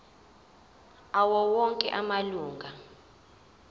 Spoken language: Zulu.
awo onke amalunga